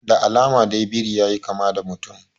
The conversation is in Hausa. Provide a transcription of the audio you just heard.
Da alama dai biri yayi kama da mutum